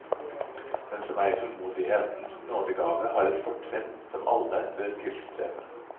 Den som eier tålmodighetens nådegave, har et fortrinn som alle bør tilstrebe.